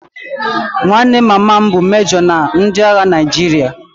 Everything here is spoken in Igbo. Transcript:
Nwanne mama m bụ mejo na ndị agha Naịjirịa